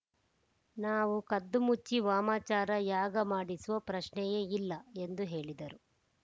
ನಾವು ಕದ್ದುಮುಚ್ಚಿ ವಾಮಾಚಾರ ಯಾಗ ಮಾಡಿಸೋ ಪ್ರಶ್ನೆಯೇ ಇಲ್ಲ ಎಂದು ಹೇಳಿದರು